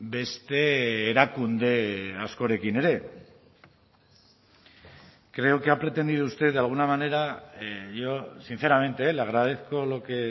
beste erakunde askorekin ere creo que ha pretendido usted de alguna manera yo sinceramente eh le agradezco lo que